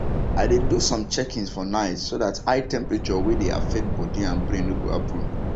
i dey do some checkings for night so that high temperature wey dey affects body and brain no go happen